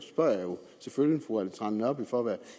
selvfølgelig fru ellen trane nørby for at være